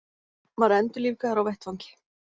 Var endurlífgaður á vettvangi